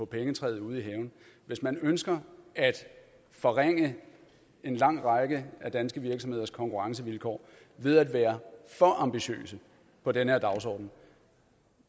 pengetræ ude i haven hvis man ønsker at forringe en lang række danske virksomheders konkurrencevilkår ved at være for ambitiøs med den her dagsorden